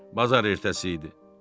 Bazar ertəsi idi.